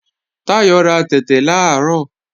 Táyọ̀ ra tẹ̀tẹ̀ làárọ̀